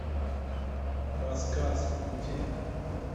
рассказ включи